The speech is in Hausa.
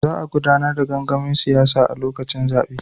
Za a gudanar da gangamin siyasa a lokacin zabe.